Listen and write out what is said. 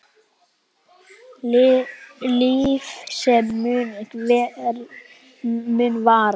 Líf sem mun vara.